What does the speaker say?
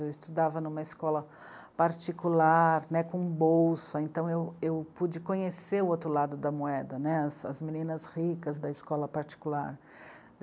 Eu estudava em uma escola particular, com bolsa, então eu, eu pude conhecer o outro lado da moeda, as meninas ricas da escola particular.